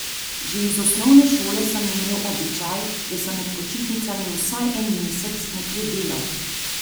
Že iz osnovne šole sem imel običaj, da sem med počitnicami vsaj en mesec nekje delal.